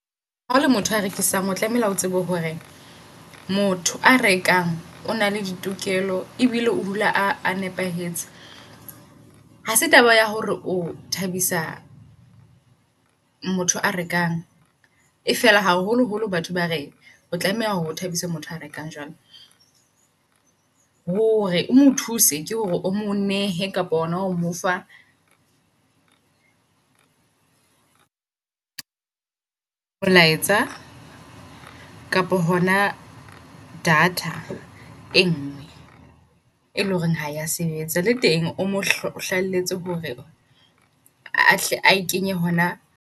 Ha ole motho a rekisang o tlamehile o tsebe hore motho a rekang o na le ditokelo ebile o dula a nepahetse. Hase taba ya hore o thabisa motho a rekang e fela haholoholo batho bare o tlameha hore o thabise motho a rekang jwang. Hore o mothuse ke hore o mo nehe kapa ona ho mofa molaetsa. Kapo hona data e ngwe e leng hore ha ya sebetsa. Le teng omo hlahelletse hore a hle ae kenye hona.